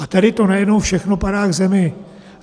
A tady to najednou všechno padá k zemi.